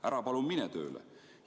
Ära palun mine tööle!